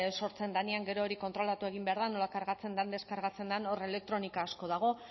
sortzen denean gero hori kontrolatu egin behar da nola kargatzen den deskargatzen den hor elektronika asko dago